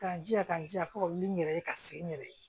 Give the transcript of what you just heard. Ka n jija ka jija fo ka wuli n yɛrɛ ye ka se n yɛrɛ ye